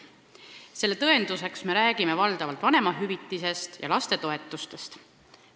Selle tõenduseks me räägime valdavalt vanemahüvitisest ja lastetoetustest.